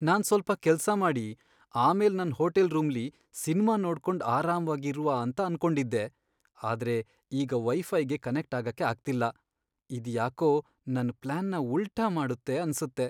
ನಾನ್ ಸ್ವಲ್ಪ ಕೆಲ್ಸ ಮಾಡಿ ಆಮೇಲ್ ನನ್ ಹೋಟೆಲ್ ರೂಮ್ಲಿ ಸಿನ್ಮಾ ನೋಡ್ಕೊಂಡ್ ಅರಾಮ್ವಾಗಿ ಇರುವ ಅಂತ ಅನ್ಕೊಂಡಿದ್ದೆ, ಆದ್ರೆ ಈಗ ವೈಫೈಗೆ ಕನೆಕ್ಟ್ ಆಗಕೆ ಆಗ್ತಿಲ್ಲ, ಇದ್ ಯಾಕೋ ನನ್ ಪ್ಲಾನ್ನ ಉಲ್ಟಾ ಮಾಡುತ್ತೆ ಅನ್ಸುತ್ತೆ.